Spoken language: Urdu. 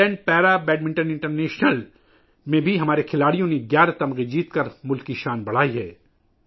آئرلینڈ پیرا بیڈمنٹن انٹرنیشنل میں بھی ہمارے کھلاڑیوں نے 11 میڈلز جیت کر ملک کا نام روشن کیا ہے